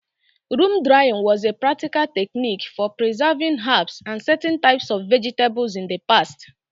Room drying was a practical technique for preserving herbs and certain types of vegetables in the past.